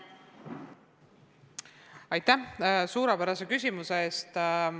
Aitäh suurepärase küsimuse eest!